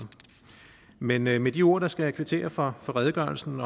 men med med de ord skal jeg kvittere for redegørelsen